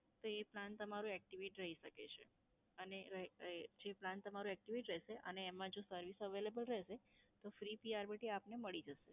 તો એ plan તમારું activate રહી શકે છે. અને રહે રહે જે plan તમારું activate રહેશે અને એમાં જો service available રહેશે તો free P R B T આપને મળી જશે.